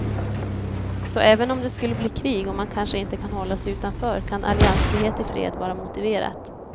Så även om det skulle bli krig och man kanske inte kan hålla sig utanför kan alliansfrihet i fred vara motiverat.